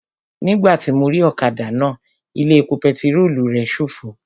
Nígbàtí mo rí ọ̀kadà náà, ilé epo pẹtirólù rẹ̀ ṣófo